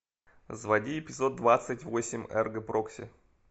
заводи эпизод двадцать восемь эрго прокси